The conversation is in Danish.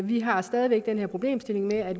vi har stadig væk den her problemstilling med at